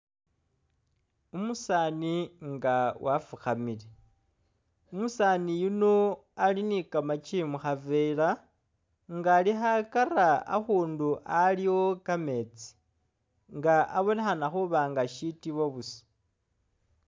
Umusaani nga wafukamile, umusaani yuno ali ni kamakyi mu khavera nga ali khakara akhundu aliwo kameetsi nga abonekhana nga shitibo busa.